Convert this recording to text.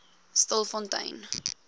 stilfontein